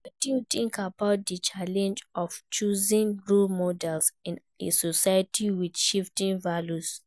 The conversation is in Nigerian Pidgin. Wetin you think about di challenge of choosing role models in a society with shifting values?